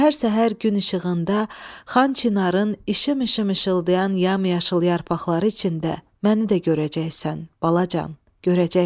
Səhər-səhər gün işığında Xan Çinarın işım-işım işıldayan yam-yaşıl yarpaqları içində məni də görəcəksən, balacan.